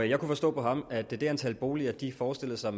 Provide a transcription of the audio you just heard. jeg kunne forstå på ham at det antal boliger de forestillede sig